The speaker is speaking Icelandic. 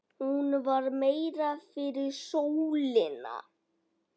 Hún var meira fyrir sólina.